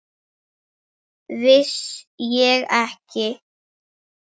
Vissi ég ekki!